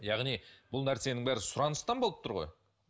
яғни бұл нәрсенің бәрі сұраныстан болып тұр ғой